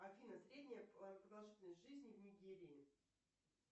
афина средняя продолжительность жизни в нигерии